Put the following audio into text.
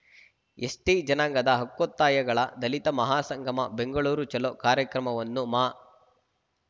ST ಜನಾಂಗದ ಹಕ್ಕೋತ್ತಾಯಗಳ ದಲಿತ ಮಹಾ ಸಂಗಮ ಬೆಂಗಳೂರು ಚಲೋ ಕಾರ್ಯಕ್ರಮವನ್ನು ಮಾ